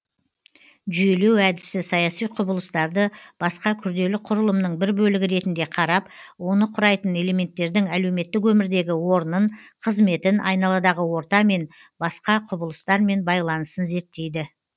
жүйелеу әдісі саяси құбылыстарды басқа күрделі құрылымның бір бөлігі ретінде қарап оны құрайтын элементтердің әлеуметтік өмірдегі орнын қызметін айналадағы ортамен басқа құбылыстармен байланысын зерттейді